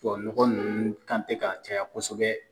Tubabu nɔgɔ nunnu kan tɛ ka caya kosɛbɛ.